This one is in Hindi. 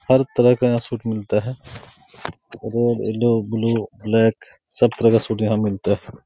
हर तरह का यहाँ सूट मिलता है ब्लू ब्लू ब्लैक सब तरह का सूट यहाँ मिलता है।